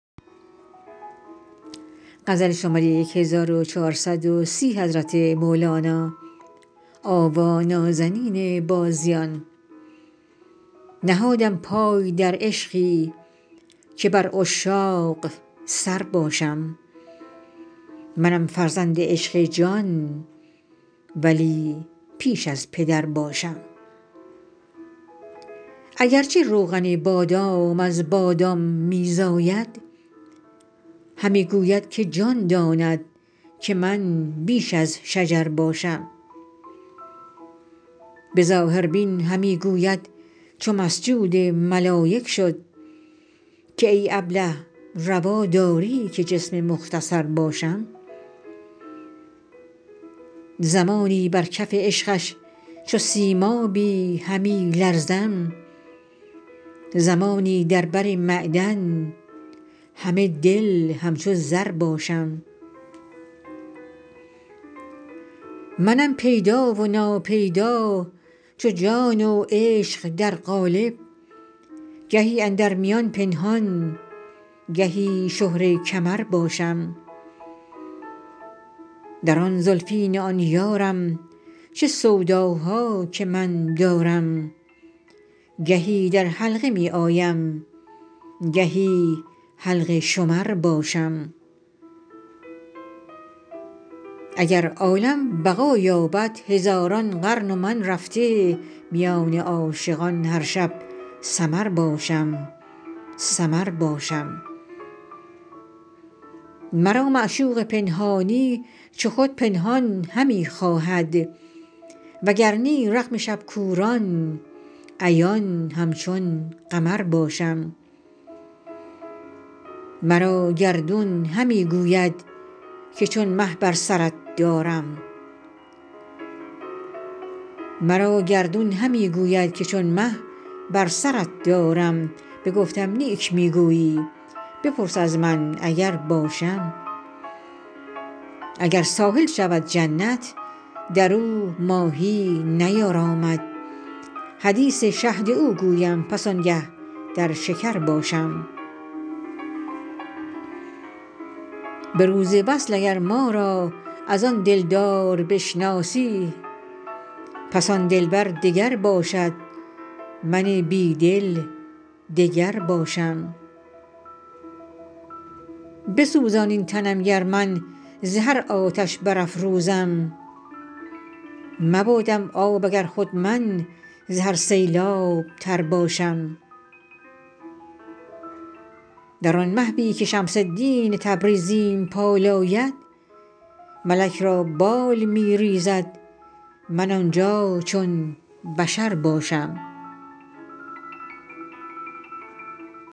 نهادم پای در عشقی که بر عشاق سر باشم منم فرزند عشق جان ولی پیش از پدر باشم اگر چه روغن بادام از بادام می زاید همی گوید که جان داند که من بیش از شجر باشم به ظاهربین همی گوید چو مسجود ملایک شد که ای ابله روا داری که جسم مختصر باشم زمانی بر کف عشقش چو سیمابی همی لرزم زمانی در بر معدن همه دل همچو زر باشم منم پیدا و ناپیدا چو جان و عشق در قالب گهی اندر میان پنهان گهی شهره کمر باشم در آن زلفین آن یارم چه سوداها که من دارم گهی در حلقه می آیم گهی حلقه شمر باشم اگر عالم بقا یابد هزاران قرن و من رفته میان عاشقان هر شب سمر باشم سمر باشم مرا معشوق پنهانی چو خود پنهان همی خواهد وگر نی رغم شب کوران عیان همچون قمر باشم مرا گردون همی گوید که چون مه بر سرت دارم بگفتم نیک می گویی بپرس از من اگر باشم اگر ساحل شود جنت در او ماهی نیارامد حدیث شهد او گویم پس آنگه در شکر باشم به روز وصل اگر ما را از آن دلدار بشناسی پس آن دلبر دگر باشد من بی دل دگر باشم بسوزا این تنم گر من ز هر آتش برافروزم مبادم آب اگر خود من ز هر سیلاب تر باشم در آن محوی که شمس الدین تبریزیم پالاید ملک را بال می ریزد من آن جا چون بشر باشم